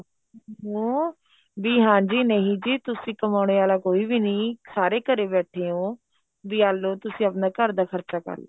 ਹਮ ਬੀ ਹਾਂਜੀ ਨਹੀਂ ਜੀ ਤੁਸੀਂ ਕਮਾਉਣੇ ਵਾਲਾ ਕੋਈ ਵੀ ਨਹੀਂ ਸਾਰੇ ਘਰੇ ਬੈਠੇ ਓ ਬੀ ਆਹ ਲਓ ਤੁਸੀਂ ਆਪਣੇ ਘਰ ਦਾ ਖ਼ਰਚਾ ਕਰਲੋ